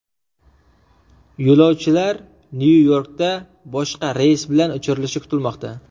Yo‘lovchilar Nyu-Yorkka boshqa reys bilan uchirilishi kutilmoqda.